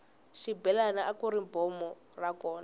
xibelani akuri bombo ra kona